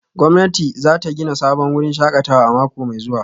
Gwamnati za ta gina sabon wurin shakatawa a mako mai zuwa